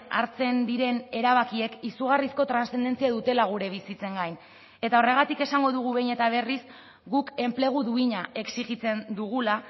hartzen diren erabakiek izugarrizko transzendentzia dutela gure bizitzen gain eta horregatik esango dugu behin eta berriz guk enplegu duina exijitzen dugula